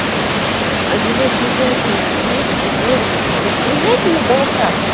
одинокие женщины есть ли девушки блять приезжайте на балашов